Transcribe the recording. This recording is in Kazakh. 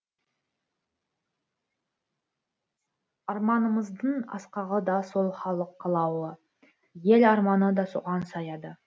арманымыздың асқағы да сол халық қалауы ел арманы да соған саяды